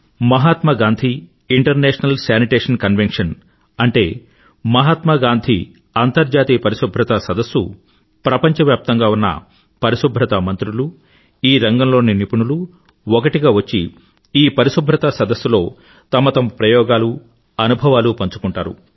మహాత్మ Gandhi international sanitation convention అంటే మహాత్మా గాంధీ అంతర్జాతీయ పరిశుభ్రతా సదస్సు ప్రపంచవ్యాప్తంగా ఉన్న పరిశుభ్రతా మంత్రులు ఈ రంగంలోని నిపుణులు ఒకటిగా వచ్చి ఈ పరిశుభ్రతా సదస్సులో తమతమ ప్రయోగాలు అనుభవాలు పంచుకుంటారు